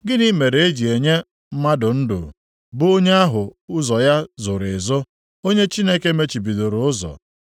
Gịnị mere e ji enye mmadụ ndụ; bụ onye ahụ ụzọ ya zoro ezo, onye Chineke mechibidoro ụzọ?